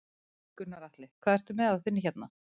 Gunnar Atli: Hvað ert þú með á þinni hérna?